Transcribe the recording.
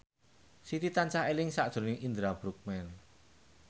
Siti tansah eling sakjroning Indra Bruggman